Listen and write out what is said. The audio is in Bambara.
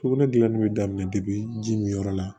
Sugunɛ gilanni bɛ daminɛ ji min yɔrɔ la